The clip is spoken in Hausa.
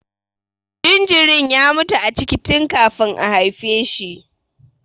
Jinjirin ya mutu a ciki tun kafin a haife shi.